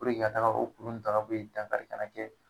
i ka taga o kuru n ta ka bo ye dankari kana kɛ